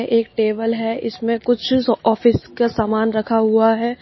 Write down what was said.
एक टेबल है इसमें कुछ ऑफिस का सामान रखा हुआ है।